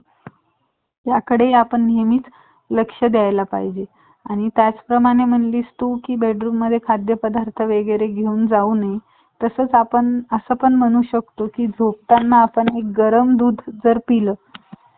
चालतंय हम्म